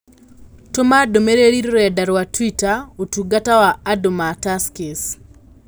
Tũma ndũmĩrĩri rũrenda rũa tũita ũtungata wa andũ ma Tuskys